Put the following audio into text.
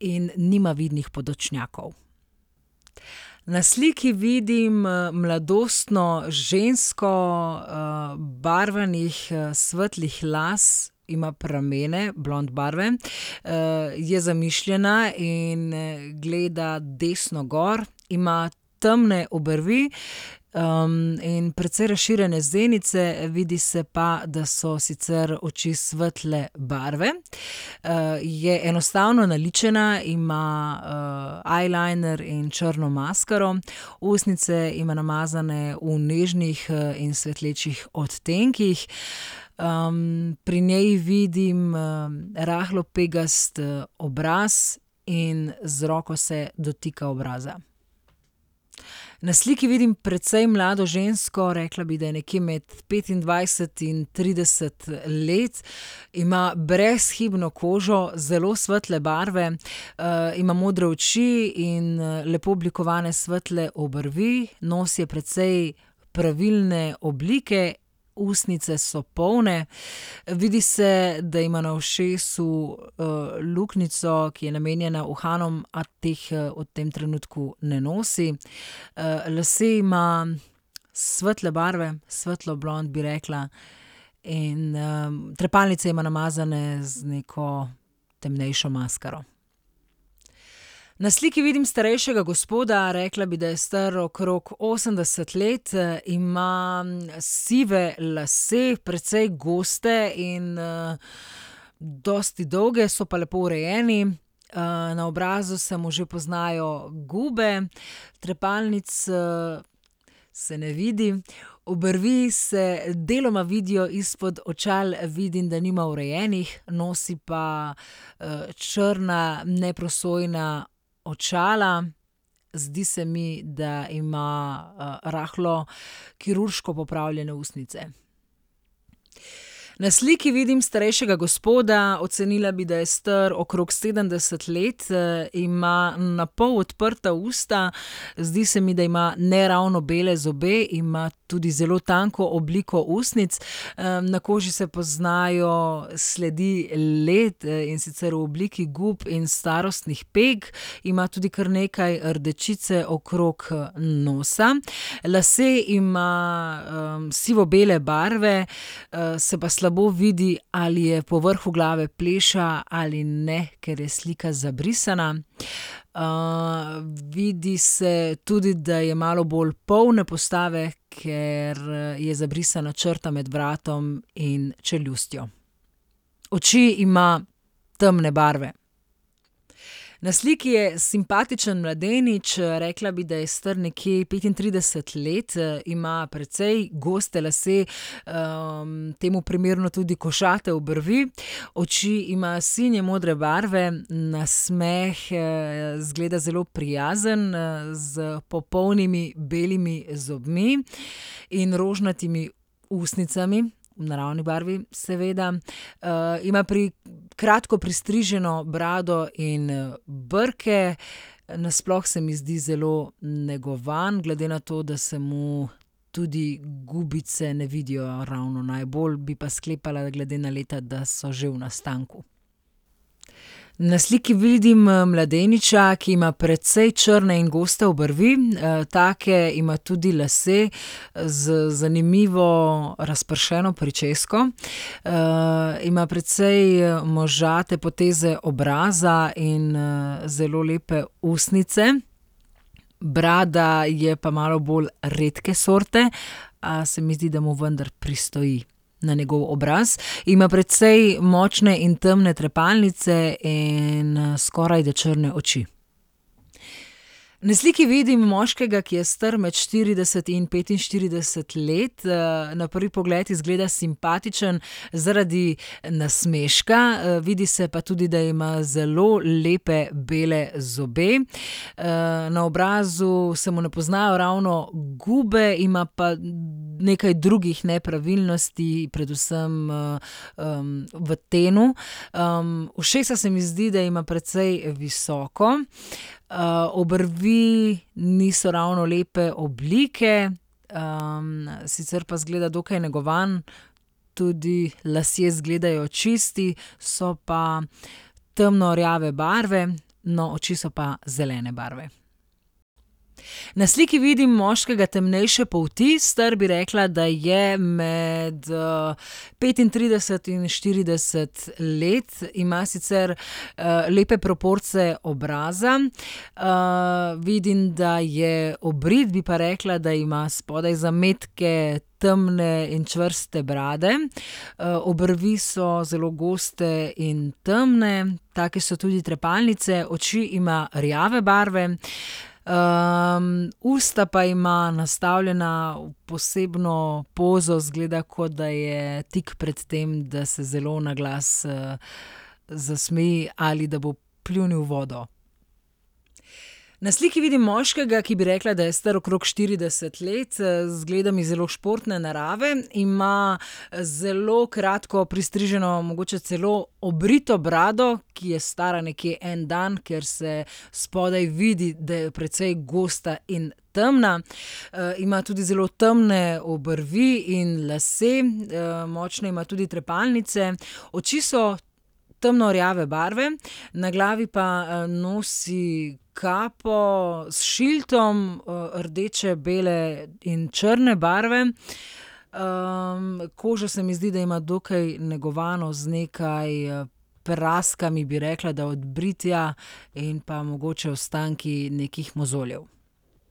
in nima vidnih podočnjakov. Na sliki vidim, mladostno žensko, barvanih svetlih las, ima pramene, blond barve, je zamišljena in gleda desno gor. Ima temne obrvi, in precej razširjene zenice, vidi se pa, da so sicer oči svetle barve. je enostavno naličena, ima, eyeliner in črno maskaro. Ustnice ima namazane v nežnih, in svetlečih odtenkih. pri njej vidim, rahlo pegast obraz in z roko se dotika obraza. Na sliki vidim precej mlado žensko, rekla bi, da je nekje med petindvajset in trideset let. Ima brezhibno kožo zelo svetle barve, ima modre oči in, lepo oblikovane svetle obrvi. Nos je precej pravilne oblike, ustnice so polne, vidi se, da ima na ušesu, luknjico, ki je namenjena uhanom, a teh, v tem trenutku ne nosi. lase ima svetle barve, svetlo blond, bi rekla. In, trepalnice ima namazane z neko temnejšo maskaro. Na sliki vidim starejšega gospoda, rekla bi, da je star okrog osemdeset let, ima sive lase, precej goste in, dosti dolge, so pa lepo urejeni. na obrazu se mu že poznajo gube, trepalnic, se ne vidi. Obrvi se deloma vidijo izpod očal, vidim, da nima urejenih. Nosi pa, črna neprosojna očala, zdi se mi, da ima, rahlo kirurško popravljene ustnice. Na sliki vidim starejšega gospoda, ocenila bi, da je star okrog sedemdeset let, ima napol odprta usta. Zdi se mi, da ima neravno bele zobe. Ima tudi zelo tanko obliko ustnic. na koži se poznajo sledi let, in sicer v obliki gub in starostnih peg. Ima tudi kar nekaj rdečice okrog, nosa. Lase ima, sivobele barve, se pa slabo vidi, ali je po vrhu glave pleša ali ne, ker je slika zabrisana. vidi se tudi, da je malo bolj polne postave, ker, je zabrisana črta med vratom in čeljustjo. Oči ima temne barve. Na sliki je simpatičen mladenič, rekla bi, da je star nekje petintrideset let, ima precej goste lase, temu primerno tudi košate obrvi. Oči ima sinje modre barve, nasmeh, izgleda zelo prijazen, s popolnimi belimi zobmi in rožnatimi ustnicami, v naravni barvi, seveda. ima kratko pristriženo brado in, brke. nasploh se mi zdi zelo negovan, glede na to, da se mu tudi gubice ne vidijo ravno najbolj, bi sklepala, glede na leta, da so že v nastanku. Na sliki vidim, mladeniča, ki ima precej črne in goste obrvi, take ima tudi lase. z zanimivo razpršeno pričesko. ima precej možate poteze obraza in, zelo lepe ustnice. Brada je pa malo bolj redke sorte. se mi zdi, da mu vendar pristoji na njegov obraz, ima precej močne in temne trepalnice in, skorajda temne oči. Na sliki vidim moškega, ki je star med štirideset in petinštirideset let. na prvi pogled izgleda simpatičen zaradi nasmeška, vidi se pa tudi, da ima zelo lepe bele zobe. na obrazu se mu ne poznajo ravno gube, ima pa nekaj drugih nepravilnosti, predvsem, v tenu. ušesa se mi zdi, da ima precej visoko, obrvi niso ravno lepe oblike. sicer pa izgleda dokaj negovan tudi lasje izgledajo čisti. So pa temno rjave barve, no, oči so pa zelene barve. Na sliki vidim moškega temnejše polti, star, bi rekla, da je med, petintrideset in štirideset let. Ima sicer, lepe proporce obraza, vidim, da je obrit, bi pa rekla, da ima spodaj zametke temne in čvrste brade. obrvi so zelo goste in temne, take so tudi trepalnice, oči ima rjave barve. usta pa ima nastavljena v posebno pozo, izgleda, kot da je tik pred tem, da se zelo naglas, zasmeji ali da bo pljunil vodo. Na sliki vidim moškega, ki, bi rekla, da je star okrog štirideset let. izgleda mi zelo športne narave, ima, zelo kratko pristriženo, mogoče celo obrito brado, ki je stara nekje en dan, ker se spodaj vidi, da je precej gosta in temna. ima tudi zelo temne obrvi in lase, močne ima tudi trepalnice. Oči so temno rjave barve, na glavi pa, nosi kapo s šildom, rdeče, bele in črne barve. koža se mi zdi, da ima dokaj negovano z nekaj, praskami, bi rekla, da od britja. In pa mogoče ostanki nekih mozoljev.